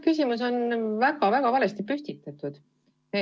Küsimus on väga-väga valesti püstitatud.